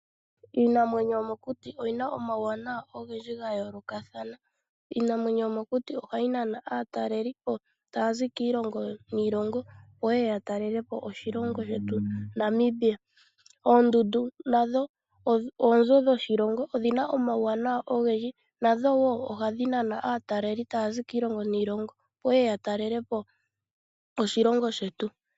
Iinamwenyo yomokuti yi na omawuawanawa ogendji ga yoolokathana. Iinamwenyo yomokuti ohayi nana aatalelipo taya zi kiilongo niilongo, opo ye ye ya talelepo oshilongo shetu Namibia. Oondundu nadho oonzo dhoshilongo. Odhi na omawuwanawa ogendji, nadho wo ohadhi nana aatalelipo taya zi kiilongo niilongo, opo ye ye ya talele po oshilongo shetu.